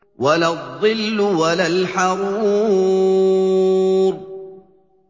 وَلَا الظِّلُّ وَلَا الْحَرُورُ